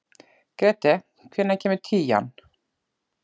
Grethe, hvenær kemur tían?